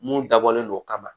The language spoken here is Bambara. Mun dabɔlen don kama